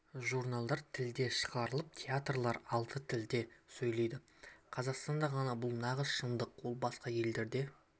журналдар тілде шығарылып театрлар алты тілде сөйлейді қазақстанда ғана бұл нағыз шындық ол басқа елдерде